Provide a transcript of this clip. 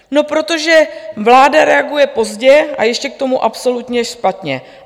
No protože vláda reaguje pozdě a ještě k tomu absolutně špatně.